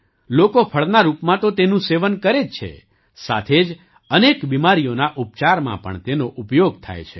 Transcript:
લોકો ફળના રૂપમાં તો તેનું સેવન કરે જ છે સાથે જ અનેક બીમારીઓના ઉપચારમાં પણ તેનો ઉપયોગ થાય છે